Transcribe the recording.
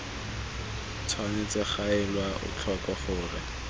tshwanetse ga elwa tlhoko gore